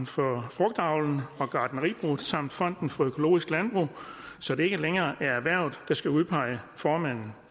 for frugtavlen og gartneribruget samt fonden for økologisk landbrug så det ikke længere er erhvervet der skal udpege formanden